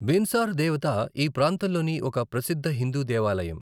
బిన్సార్ దేవతా ఈ ప్రాంతంలోని ఒక ప్రసిద్ధ హిందూ దేవాలయం.